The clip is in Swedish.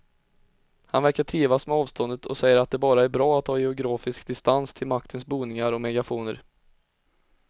Han verkar trivas med avståndet och säger att det bara är bra att ha geografisk distans till maktens boningar och megafoner.